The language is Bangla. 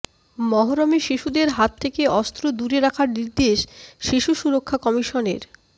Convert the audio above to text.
মহরমে শিশুদের হাত থেকে অস্ত্র দূরে রাখার নির্দেশ শিশু সুরক্ষা কমিশনের